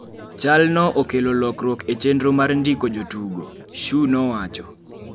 "chalno okelo lokruok e chenro mar ndiko jotugo" Shu nowacho